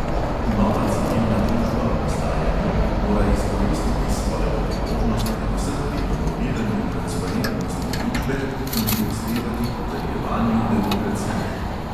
"Nova" civilna družba v nastajanju mora izkoristiti svojo priložnost predvsem pri promoviranju transparentnosti družbe in prispevati k utrjevanju demokracije.